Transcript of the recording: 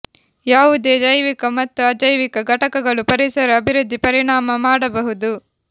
ಯಾವುದೇ ಜೈವಿಕ ಮತ್ತು ಅಜೈವಿಕ ಘಟಕಗಳು ಪರಿಸರ ಅಭಿವೃದ್ಧಿ ಪರಿಣಾಮ ಮಾಡಬಹುದು